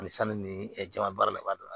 Ani sanni ni jama baara la